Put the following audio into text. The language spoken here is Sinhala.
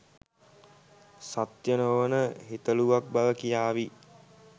සත්‍ය නොවන හිතලුවක් බව කියාවි